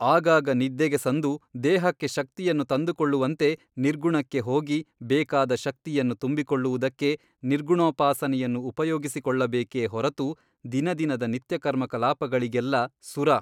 ಆಗಾಗ ನಿದ್ದೆಗೆ ಸಂದು ದೇಹಕ್ಕೆ ಶಕ್ತಿಯನ್ನು ತಂದುಕೊಳ್ಳುವಂತೆ ನಿರ್ಗುಣಕ್ಕೆ ಹೋಗಿ ಬೇಕಾದ ಶಕ್ತಿಯನ್ನು ತುಂಬಿಕೊಳ್ಳುವುದಕ್ಕೆ ನಿರ್ಗುಣೋಪಾಸನೆಯನ್ನು ಉಪಯೋಗಿಸಿಕೊಳ್ಳಬೇಕೇ ಹೊರತು ದಿನದಿನದ ನಿತ್ಯಕರ್ಮಕಲಾಪಗಳಿಗೆಲ್ಲಾ ಸುರಾ !